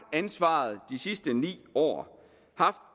ansvaret de sidste ni år haft